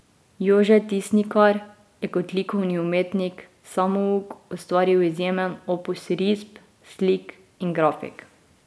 Jože Tisnikar je kot likovni umetnik samouk ustvaril izjemen opus risb, slik in grafik.